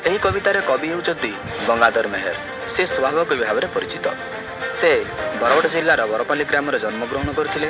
ଏହି କବିତାର କବି ହେଉଛନ୍ତି ଗଙ୍ଗାଧର ମେହେର ସେ ସ୍ଵଭାବକବି ଭାବରେ ପରିଚିତ। ସେ ବରଗଡ଼ ଜିଲ୍ଲାରେ ବରପାଲି ଗ୍ରାମରେ ଜନ୍ମଗ୍ରହଣ କରିଥିଲେ।